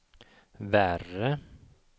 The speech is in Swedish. värre